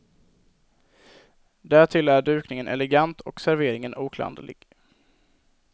Därtill är dukningen elegant och serveringen oklanderlig.